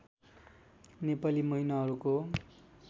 Nepali महिनाहरूको